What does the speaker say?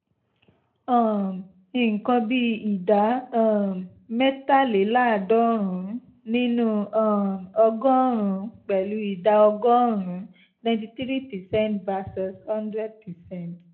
um nǹkan bíi ìdá um mẹ́tàléláàádọ́rùn-ún nínú um ọgọ́rùn-ún pẹ̀lú ìdá ọgọ́rùn-ún ninety three percent versus hundred percent